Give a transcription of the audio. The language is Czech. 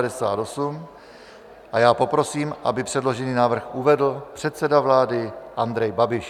A já poprosím, aby předložený návrh uvedl předseda vlády Andrej Babiš.